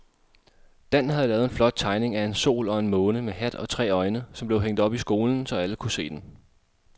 Dan havde lavet en flot tegning af en sol og en måne med hat og tre øjne, som blev hængt op i skolen, så alle kunne se den.